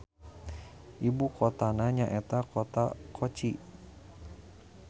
Ibukotana nyaeta Kota Kochi.